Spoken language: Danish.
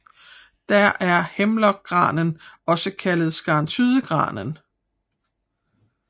Der er Hemlock granen også kaldet Skarntydegranen